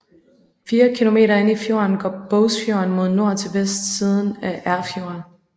Fire kilometer inde i fjorden går Bogsfjorden mod nord til vestsiden af Erfjord